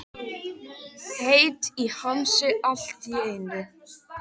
Gunndóra, læstu útidyrunum.